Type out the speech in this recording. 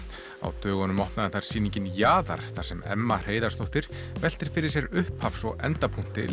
á dögunum opnaði þar sýningin jaðar þar sem Emma Heiðarsdóttir veltir fyrir sér upphafs og endapunkti